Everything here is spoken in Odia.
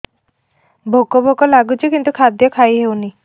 ଭୋକ ଭୋକ ଲାଗୁଛି କିନ୍ତୁ ଖାଦ୍ୟ ଖାଇ ହେଉନି